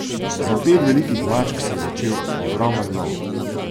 Za pet velikih mačk se je začel ogromen lov.